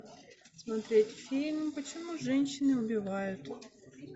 смотреть фильм почему женщины убивают